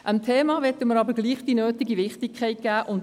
Dem Thema möchten wir trotzdem die nötige Wichtigkeit geben.